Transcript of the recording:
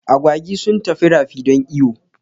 Agwagi sun tafi rafi don iyo